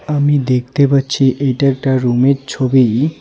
আমি দেখতে পাচ্ছি এটা একটা রুমের ছবি.